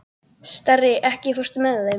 Starri, ekki fórstu með þeim?